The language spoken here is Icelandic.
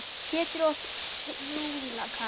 Piltur og stúlka.